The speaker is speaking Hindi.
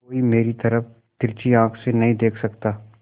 कोई मेरी तरफ तिरछी आँख से नहीं देख सकता